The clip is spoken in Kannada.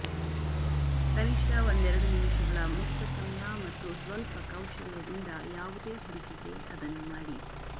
ಕನಿಷ್ಟ ಒಂದೆರಡು ನಿಮಿಷಗಳ ಮುಕ್ತ ಸಮಯ ಮತ್ತು ಸ್ವಲ್ಪ ಕೌಶಲ್ಯದಿಂದ ಯಾವುದೇ ಹುಡುಗಿಗೆ ಅದನ್ನು ಮಾಡಿ